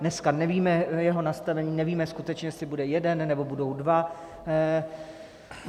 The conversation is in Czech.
Dneska nevíme jeho nastavení, nevíme skutečně, jestli bude jeden, nebo budou dva.